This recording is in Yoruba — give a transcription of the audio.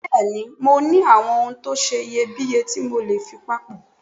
Bẹ́ẹ̀ni mo ní àwọn ohun tó seye bíye tí mọ́lè fi papọ́